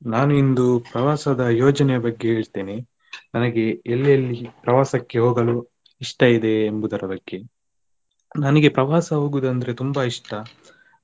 ನಾನ್ ಇಂದು ಪ್ರವಾಸದ ಯೋಜನೆಯ ಬಗ್ಗೆ ಹೇಳ್ತೇನೆ ನನಗೆ ಎಲ್ಲೆಲ್ಲಿ ಪ್ರವಾಸಕ್ಕೆ ಹೋಗಲು ಇಷ್ಟ ಇದೆ ಎಂಬುದರ ಬಗ್ಗೆ ನನಿಗೆ ಪ್ರವಾಸ ಹೋಗುದಂದ್ರೆ ತುಂಬಾ ಇಷ್ಟ.